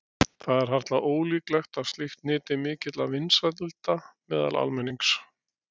Það er harla ólíklegt að slíkt nyti mikilla vinsælda meðal almennings.